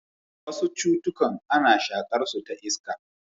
Wasu cutukan ana shaƙarsu ta iska.